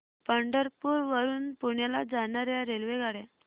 पंढरपूर वरून पुण्याला जाणार्या रेल्वेगाड्या